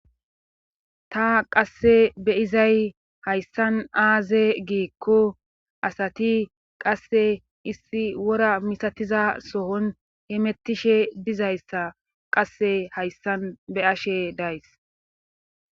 Ta qasse be izay hayssan aaze giikko asati qasse issi wora misatiza sohon he mettishe dizayssa qasse hayssan be ashe days.